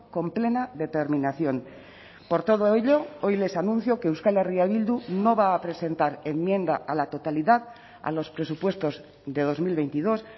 con plena determinación por todo ello hoy les anuncio que euskal herria bildu no va a presentar enmienda a la totalidad a los presupuestos de dos mil veintidós